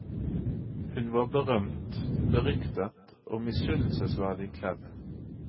Hun var berømt, beryktet og misunnelsesverdig kledt.